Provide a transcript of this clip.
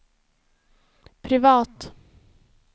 privat